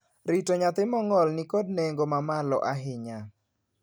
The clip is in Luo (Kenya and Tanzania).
Rito nyathi mong'ol ni kod nengo ma malo ahinya.